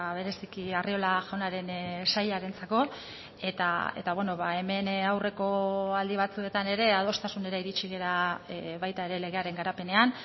bereziki arriola jaunaren sailarentzako eta hemen aurreko aldi batzuetan ere adostasunera iritsi gara baita ere legearen garapenean